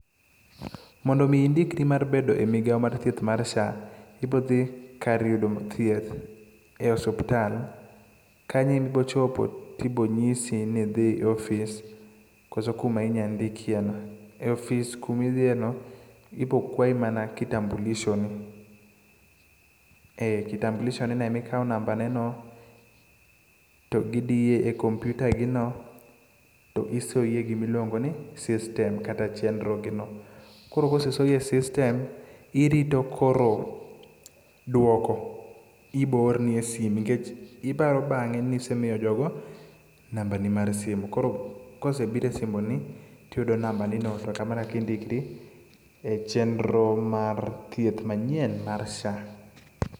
Mondo mi indikri mar bedo e migao mar thieth mar SHA, ibo dhi kar yudo thieth e osuptal. Kanyo e ma ibo chopo tibo nyisi nidhi e ofis, koso kuma inya ndhiki e no. E ofis kuma idhieno, ibo kwayi mana kitambulisho ni. E kitambulisho[c]s ni no, emikawe namba ne no, to gidiyo e komputa gi no, to isoyi e gima iluongo ni system kata chenro gi no. Koro kosesoyi e system irito koro duoko ibo or ni e sime. Nikech iparo bang'e nisemiyo jogo namba ni mar sime. Koro kosebiro e simbi ni, tiyudo namba ni no to kamano e kaka indikri e chenro mar thieth manyien mar SHA.